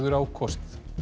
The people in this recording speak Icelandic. á kosið